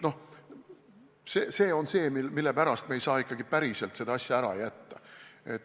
See on see, mille pärast me ei saa ikkagi päriselt kontrolli ära jätta.